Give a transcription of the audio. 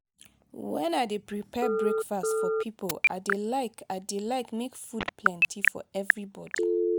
wen i dey prepare breakfast for pipo i dey like i dey like make food plenty for everybody.